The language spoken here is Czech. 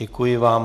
Děkuji vám.